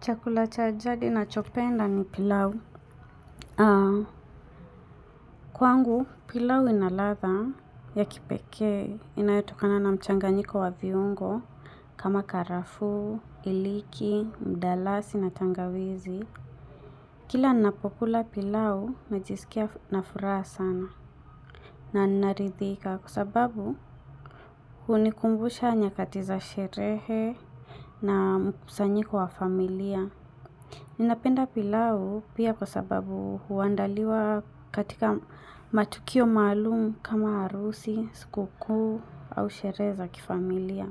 Chakula cha jadi nacho penda ni pilau. Kwangu pilau inaladha ya kipekee inayotokana na mchanganyiko wa viungo kama karafu, iliki, mdalasi na tangawizi. Kila ninapokula pilau najisikia na furaha sana na naridhika kwa sababu hunikumbusha nyakati za sherehe na mkusanyiko wa familia. Ninapenda pilau pia kwa sababu huandaliwa katika matukio maalum kama arusi, siku kuu, au sherehe za kifamilia.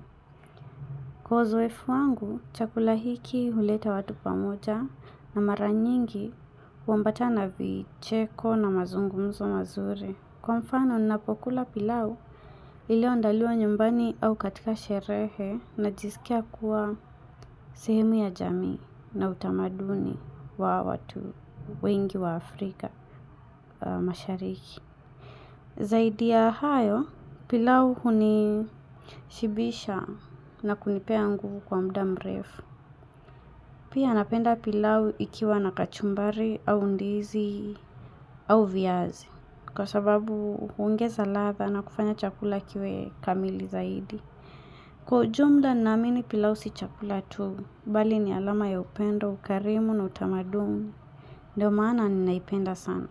Kwa uzoefu wangu, chakula hiki huleta watu pamoja na mara nyingi huambatana vicheko na mazungumzo mazuri. Kwa mfano ninapokula pilau ilio andaliwa nyumbani au katika sherehe najisikia kuwa sehemu ya jamii na utamaduni wa watu wengi wa Afrika mashariki. Zaidi ya hayo pilau hunishibisha na kunipea nguvu kwa mda mrefu. Pia napenda pilau ikiwa na kachumbari au ndizi au viazi kwa sababu huongeza ladha na kufanya chakula kiwe kamili zaidi. Kwa ujumla naamini pilau si chakula tu, bali ni alama ya upendo, ukarimu na utamaduni. Ndio maana ninaipenda sana.